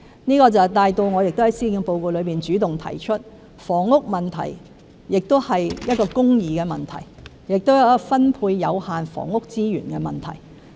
這亦帶到我在施政報告中主動提出，房屋問題是一個公義的問題，亦是分配有限房屋資源的問題。